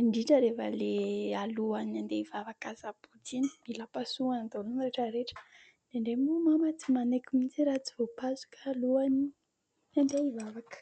indrindra rehefa ilay alohan'ny handeha hivavaka asabotsy iny mila pasohany daholo ny rehetra rehetra. Indraindray moa Mama tsy manaiky mihitsy raha tsy voapasoka alohan'ny handeha hivavaka.